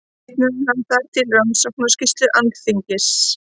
Vitnaði hann þar til Rannsóknarskýrslu Alþingis